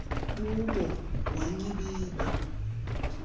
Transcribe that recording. bubo wa nyibiba